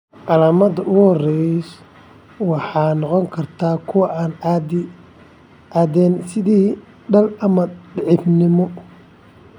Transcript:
Calaamadaha ugu horreeya waxay noqon karaan kuwo aan caddayn, sida daal ama daciifnimo.